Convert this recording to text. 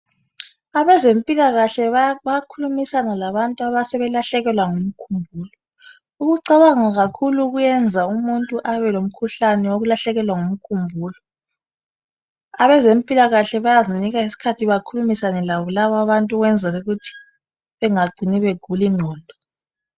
Abezempilakahle bayakhulumisana labantu asebelahlekelwa ngumkhumbulo, ukucabanha kakhulu kuyeza umuntu alahlekelwe ngumkhumbulo, abazempilakahle bayazinika isikhathi lalaba bantu bekhulumisane labo ukuze bengacini sebegula ingqondo.